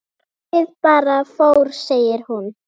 Fólkið bara fór segir hún.